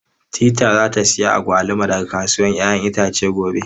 Teetea za ta sayi agwaluma daga kasuwar 'ya'yan itace gobe.